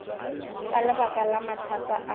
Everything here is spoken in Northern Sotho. ka lebaka la mathata a